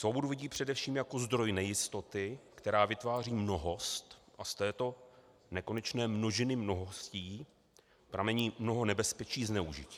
Svobodu vidí především jako zdroj nejistoty, která vytváří mnohost, a z této nekonečné množiny mnohostí pramení mnoho nebezpečí zneužití.